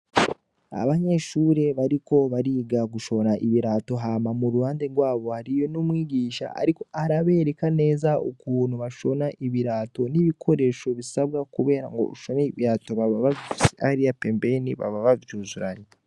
Abanyeshuri bariko bariga gushona ibirato hama mu ruhande rwabo hariyo umwigisha ariko arabereka neza ukuntu bashona ibirato n'ibikoresho bisabwa kugirango bashone ibirato babafise hariya pembeni baba bavyuzuranye.